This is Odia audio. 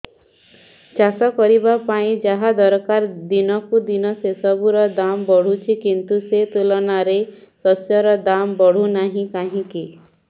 ଚାଷ କରିବା ପାଇଁ ଯାହା ଦରକାର ଦିନକୁ ଦିନ ସେସବୁ ର ଦାମ୍ ବଢୁଛି କିନ୍ତୁ ସେ ତୁଳନାରେ ଶସ୍ୟର ଦାମ୍ ବଢୁନାହିଁ କାହିଁକି